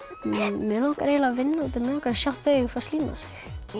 mig langar eiginlega að vinna mig langar að sjá þau fá slím á sig